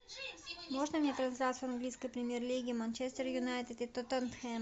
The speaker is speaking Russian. можно мне трансляцию английской премьер лиги манчестер юнайтед и тоттенхэм